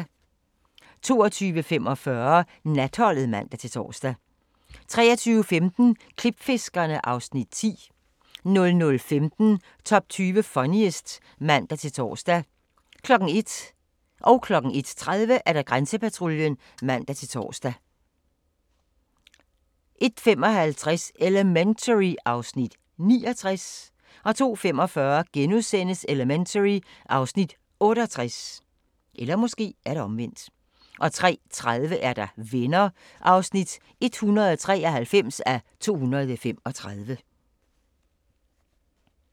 22:45: Natholdet (man-tor) 23:15: Klipfiskerne (Afs. 10) 00:15: Top 20 Funniest (man-tor) 01:00: Grænsepatruljen (man-tor) 01:30: Grænsepatruljen (man-tor) 01:55: Elementary (Afs. 69) 02:45: Elementary (Afs. 68)* 03:30: Venner (193:235)